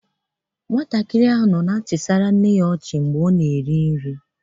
Nwatakịrị ahụ nọ na-achị nne ya ọnụ ọchị mgbe ọ na-eri nri.